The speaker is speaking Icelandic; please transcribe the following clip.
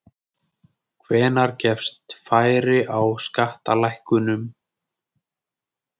Hvenær gefst færi á skattalækkunum?